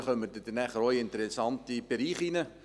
Dann kommt man langsam in den interessanten Bereich hinein.